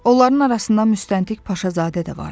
Onların arasında müstəntiq Paşazadə də vardı.